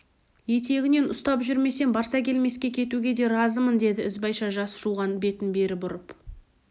етегінен ұстап жүрсем барсакелмеске кетуге де разымын деді ізбайша жас жуған бетін бері бұрып